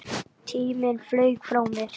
Tíminn flaug frá mér.